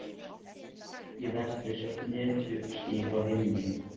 Í vestri sjást netjuský á himni.